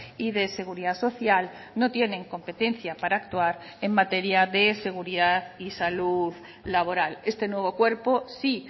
y de seguridad social no tienen competencia para actuar en materia de seguridad y salud laboral este nuevo cuerpo sí